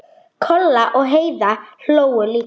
Kolla og Heiða hlógu líka.